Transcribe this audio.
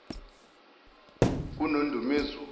kunondumezulu